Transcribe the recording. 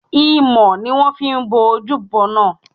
Imọ̀ ni wón fi bo ojúbo náà.